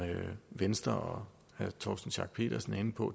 venstre og herre torsten schack pedersen er inde på